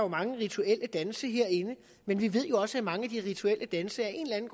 mange rituelle danse herinde men vi ved også at mange af de rituelle danse af en